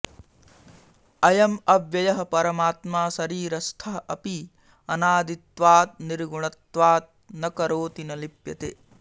अयम् अव्ययः परमात्मा शरीरस्थः अपि अनादित्वात् निर्गुणत्वात् न करोति न लिप्यते